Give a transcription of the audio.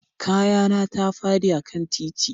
Kaya na ta fadi a kan titi